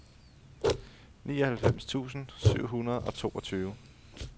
nioghalvfems tusind syv hundrede og toogtyve